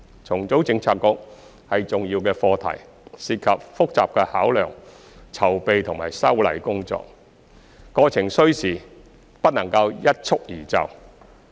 重組政策局是重要課題，涉及複雜的考量、籌備及修例工作，過程需時，不能一蹴而就。